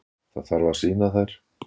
Það þarf að sýna þær.